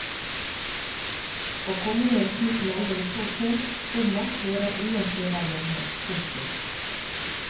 Å komme med en slik melding så sent, komma hører ingen steder hjemme. punktum